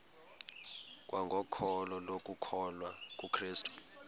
kwangokholo lokukholwa kukrestu